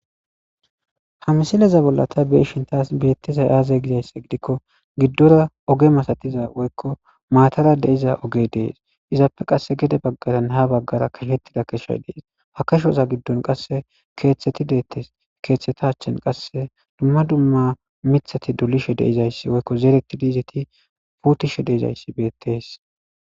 Ha misileza bolla ta be7ishin taas beetizay aaze gizayssa gidikko giddora oge masatiza woyko maatara de7iza ogey dees.izappe qasse gede baggaranne ha baggara keshay dees. ha keshaza giddon keethati deettes.keeththeta achen qasse dumma dumma mithati dolishewoyko zeretidi puutishe dizayssi beettees.